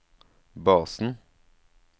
basen